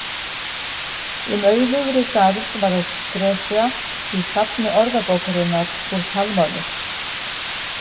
Um auðugri garð var gresja í safni Orðabókarinnar úr talmáli.